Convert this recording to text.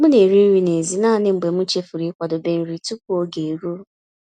M na-eri nri n'èzí naanị mgbe m chefuru ịkwadebe nri tupu oge eruo.